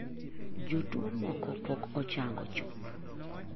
Jotuo moko pok ochango chuth.